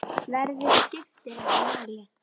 Veðrið skiptir ekki máli.